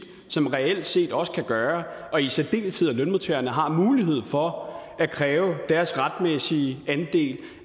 som reelt set også kan gøre at i særdeleshed lønmodtagerne har mulighed for at kræve deres retmæssige andel